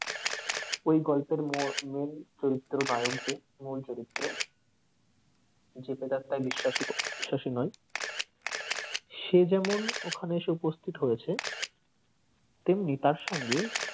ওই গল্পের মো main চরিত্র নায়ক যে মূল চরিত্র যে প্রেতাত্মাই বিশাসিক বিশ্বাসী নয় সে যেমন ওখানে এসে উপস্থিত হয়েছে তেমনি তার সঙ্গে,